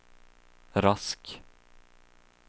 Rask